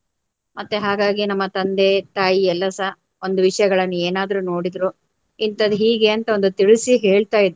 ಮತ್ತೆ ಹಾಗಾಗಿ ನಮ್ಮ ತಂದೆ ತಾಯಿ ಎಲ್ಲಾರ್ ಸಹ ಒಂದು ವಿಷಯಗಳನ್ನು ಏನಾದ್ರೂ ನೋಡಿದ್ರು ಇಂತದ್ದು ಹೀಗೆ ಅಂತ ಒಂದು ತಿಳಿಸಿ ಹೇಳ್ತಾಯಿದ್ರು